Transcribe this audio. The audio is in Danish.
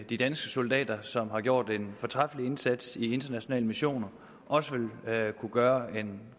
de danske soldater som har gjort en fortræffelig indsats i internationale missioner også vil kunne gøre en